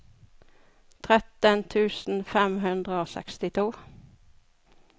tretten tusen fem hundre og sekstito